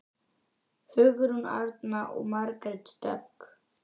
Hugrún Arna og Margrét Dögg.